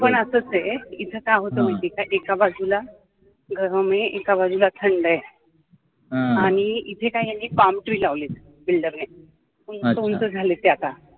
इथे काय होतं माहितीये का एका बाजूला गरम आहे एका बाजूला थंड आहे आणि इथे काय यांनी palm tree लावलीत builder नि उंच उंच झालेत ती आता